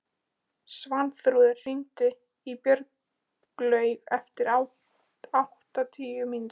Svanþrúður, hringdu í Björnlaugu eftir áttatíu mínútur.